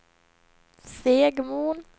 Segmon